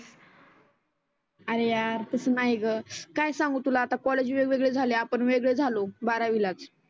आरे यार तसं नाही गं काय सांगु तुला आता कॉलेज वेगवेगळे झाले आपण वेगळे झालो बारावीलाच.